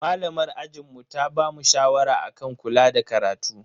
Malamar ajinmu ta bamu shawara akan kula da karatu.